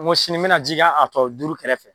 Ko sini n bɛna ji kɛ a tɔ duuru kɛrɛfɛ